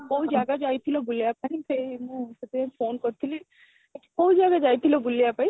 କୋଉ ଜାଗା ଯାଇଥିଲ ବୁଲିବା ପାଇଁ ସେଇ ମୁଁ ସେଥି ପାଇଁ phone କରିଥିଲି, କୋଉ ଜାଗା ଯାଇଥିଲ ବୁଲିବା ପାଇଁ?